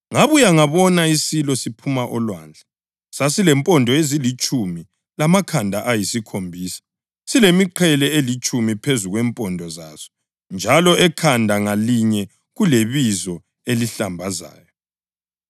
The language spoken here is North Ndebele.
Ngabuya ngabona isilo siphuma olwandle. Sasilempondo ezilitshumi lamakhanda ayisikhombisa silemiqhele elitshumi phezu kwempondo zaso njalo ekhanda ngalinye kulebizo elihlambazayo.